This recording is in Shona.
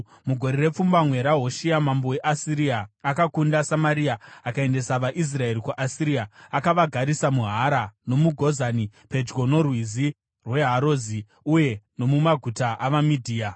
Mugore repfumbamwe raHoshea, mambo weAsiria akakunda Samaria akaendesa vaIsraeri kuAsiria. Akavagarisa muHara, nomuGozani, pedyo noRwizi rweHazori uye nomumaguta avaMedhia.